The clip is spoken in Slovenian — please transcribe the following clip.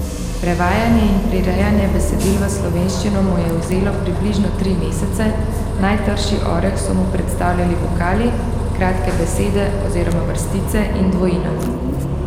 Prevajanje in prirejanje besedil v slovenščino mu je vzelo približno tri mesece, najtrši oreh so mu predstavljali vokali, kratke besede oziroma vrstice in dvojina.